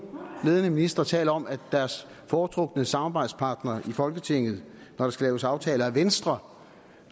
ledende ministre taler om at deres foretrukne samarbejdspartner i folketinget når der skal laves aftaler er venstre